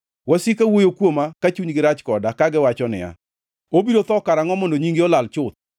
Wasika wuoyo kuoma ka chunygi rach koda, kagiwacho niya, “Obiro tho karangʼo mondo nyinge olal chuth?”